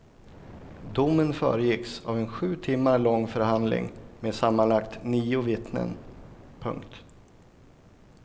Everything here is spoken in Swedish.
Domen föregicks av en sju timmar lång förhandling med sammanlagt nio vittnen. punkt